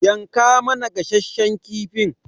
yanka mana gasasshen kifin.